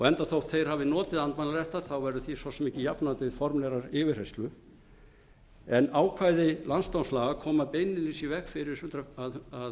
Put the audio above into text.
enda þótt þeir hafi notið andmælaréttar verður því svo sem ekki jafnað til formlegrar yfirheyrslu en ákvæði landsdómslaga koma beinlínis í veg fyrir að